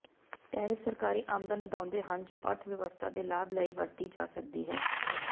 tariff ਸਰਕਾਰੀ ਆਮਦਨ ਵਧਾਉਂਦੇ ਹਨ ਜੋ ਅਰਥ ਵਿਵਸਥਾ ਦੇ ਲਾਭ ਲਈ ਵਰਤੀ ਜਾ ਸਕਦੀ ਹੈ